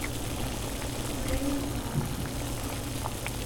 брейн аут